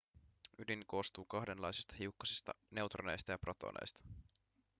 ydin koostuu kahdenlaisista hiukkasista neutroneista ja protoneista